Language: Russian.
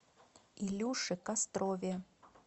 илюше кострове